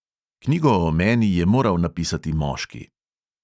Knjigo o meni je moral napisati moški.